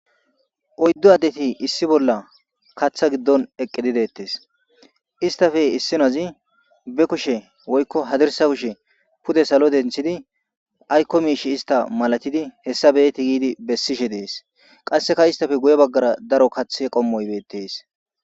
oyddu addeti issi bolla kaththa giddon eqqe didettes istafe issinazi be kushe woykko hadirsa kushe pude salo denthidi aykko miish ista malatidi hessa beeti giidi bessishe dees qasseka istafe guye baggara daro kathe qommoybeettes